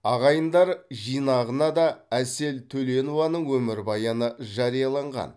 ағайындар жинағына да әсел төленованың өмірбаяны жарияланған